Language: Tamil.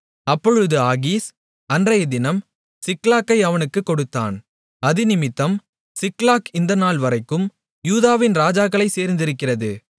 அப்பொழுது ஆகீஸ் அன்றையதினம் சிக்லாகை அவனுக்குக் கொடுத்தான் அதினிமித்தம் சிக்லாக் இந்த நாள் வரைக்கும் யூதாவின் ராஜாக்களைச் சேர்ந்திருக்கிறது